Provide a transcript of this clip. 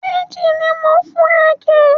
Méjì ni mo ń fún ẹ kẹ̀?